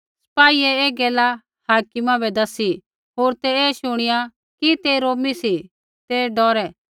सिपाहियै ऐ गैला हाकिमा बै दसी होर ते ऐ शुणिया डौरै कि ते रोमी सी ते डौरै